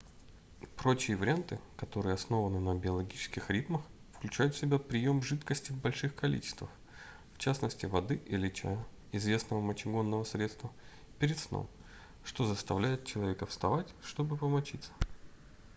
прочие варианты которые основаны на биологических ритмах включают в себя прием жидкости в больших количествах в частности воды или чая известного мочегонного средства перед сном что заставляет человека вставать чтобы помочиться